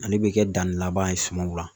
Ale bɛ kɛ danni laban ye sumanw la